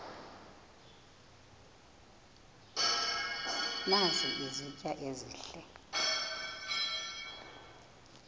nazi izitya ezihle